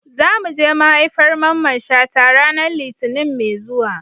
Za mu je maihaifar Mamman Shata ranar Litinin mai zuwa.